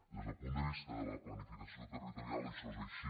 des del punt de vista de la planificació territorial això és així